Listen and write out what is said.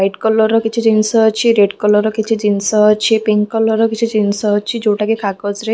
white colour ର କିଛି ଜିନିଷ ଅଛି ରେଡ୍ କଲର୍ ର କିଛି ଜିନିଷ ଅଛି ପିଙ୍କ୍ କଲର୍ ର କିଛି ଜିନିଷ ଅଛି ଯୋଉଟା କି କାଗଜ ରେ --